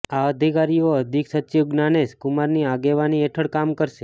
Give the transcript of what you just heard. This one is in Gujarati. આ અધિકારીઓ અધિક સચિવ જ્ઞાનેશ કુમારની આગેવાની હેઠળ કામ કરશે